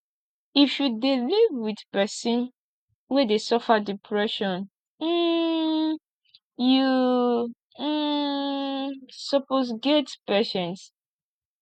if you dey live wit pesin wey dey suffer depression um you um suppose get patience